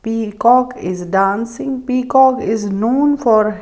Peacock is dancing peacock is known for --